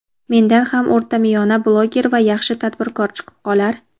mendan ham o‘rtamiyona blogger va yaxshi tadbirkor chiqib qolar.